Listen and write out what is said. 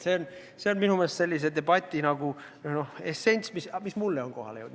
See on minu meelest praeguse debati essents, mis mulle on kohale jõudnud.